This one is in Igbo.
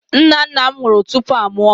Nna nna m nwụrụ tupu a mụọ m.